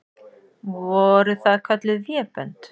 Voru það kölluð vébönd.